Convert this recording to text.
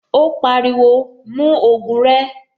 Ó pariwo, "mú ògùn rẹ."